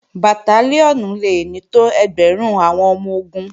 Bàtálíọ̀nì le ní tó ẹgbẹ̀rún àwọn ọmọ-ogun